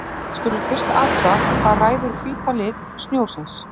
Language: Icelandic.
Við skulum fyrst athuga hvað ræður hvíta lit snjósins.